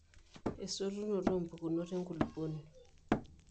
esutunoto oo mpukunot enkulupuoni